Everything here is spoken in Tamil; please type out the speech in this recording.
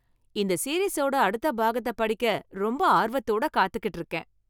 இந்த சீரிஸோட அடுத்த பாகத்த படிக்க ரொம்ப ஆர்வத்தோட காத்துக்கிட்டு இருக்கேன்.